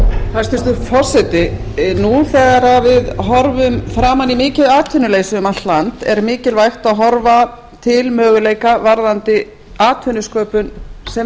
hæstvirtur forseti nú þegar við horfum framan í mikið atvinnuleysi um allt land er mikilvægt að horfa til möguleika varðandi atvinnusköpun sem